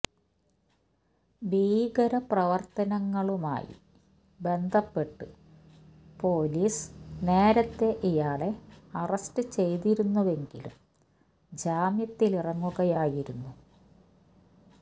ഭീകര പ്രവര്ത്തനങ്ങളുമായി ബന്ധപ്പെട്ട് പോലീസ് നേരത്തെ ഇയാളെ അറസ്റ്റ് ചെയ്തിരുന്നുവെങ്കിലും ജാമ്യത്തിലിറങ്ങുകയായിരുന്നു